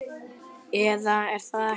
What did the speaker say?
Eða er það ekki?